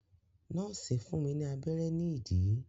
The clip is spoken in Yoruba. Nọ́ọ̀sì fún mi ní abẹ́rẹ́ ní ìdí.